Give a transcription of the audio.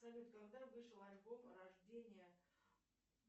салют когда вышел альбом рождение